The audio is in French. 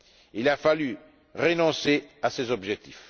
Il a fallu renoncer à cet objectif.